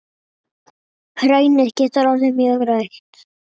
Hraunið getur orðið mjög rautt.